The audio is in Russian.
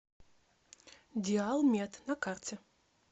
диал мед на карте